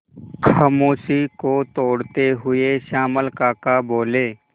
खामोशी को तोड़ते हुए श्यामल काका बोले